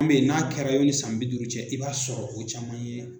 Min be yen n'a kɛra yani san bi duuru cɛ i b'a sɔrɔ o caman ye